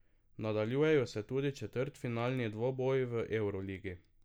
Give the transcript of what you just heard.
Nadaljujejo se tudi četrtfinalni dvoboji v evroligi.